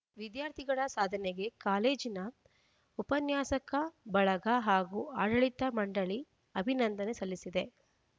ವಿದ್ಯಾರ್ಥಿಗಳ ಸಾಧನೆಗೆ ಕಾಲೇಜಿನ ಉಪನ್ಯಾಸಕ ಬಳಗ ಹಾಗೂ ಆಡಳಿತ ಮಂಡಳಿ ಅಭಿನಂದನೆ ಸಲ್ಲಿಸಿದೆ